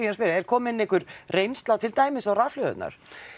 að spyrja er komin einhver reynsla til dæmis á rafhlöðurnar